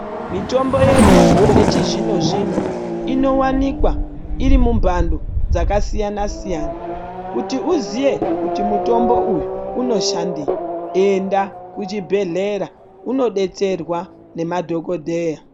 Mitombo yedu yechizvino zvino inowanikwa iri mumbando dzakasiyana siyana kuti uziye kuti mutombo uyu unoshandei enda kuchibhedhleya unodetserwa nemadhokodheya.